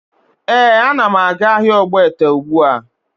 Ee, ana m aga ahịa ogbete ugbua